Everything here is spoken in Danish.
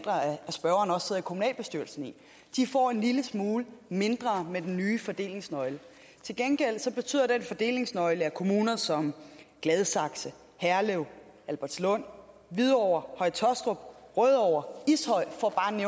spørgeren også sidder i kommunalbestyrelsen de får en lille smule mindre med den nye fordelingsnøgle til gengæld betyder den fordelingsnøgle at kommuner som gladsaxe herlev albertslund hvidovre høje taastrup rødovre